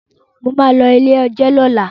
Mo ma lọ ilé-ẹjọ̀ lọ́la